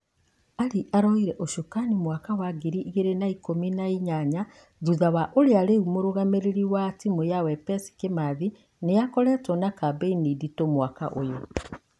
Ali aroire ũcukani mwaka wa ngiri igĩrĩ na ikũmi na inyanya thutha wa ũrĩa rĩu nĩ mũrugamĩrĩri wa timũ ya wepesi kimathi, nĩakoretwo na kambeini nditũ mwaka ũyũ.